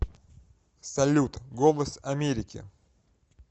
салют голос америки